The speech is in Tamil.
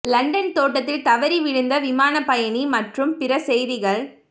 லண்டன் தோட்டத்தில் தவறி விழுந்த விமான பயணி மற்றும் பிற செய்திகள்